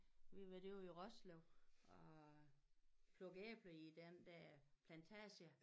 Vi var derude i Roslev og plukke æbler i den dér plantage